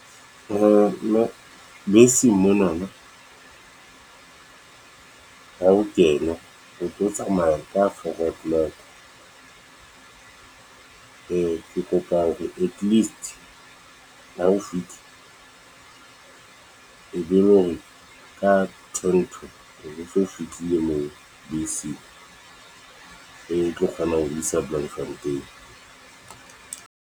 Mme beseng monana ha o kena ho tlo tsamaya ka four o clock. Ke kopa hore at least ha ho fihla e be le hore ka ten to o bo so fihlile moo beseng e tlo kgona ho isa Bloemfontein.